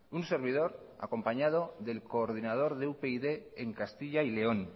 un servidor acompañado del coordinador de upyd en castilla y león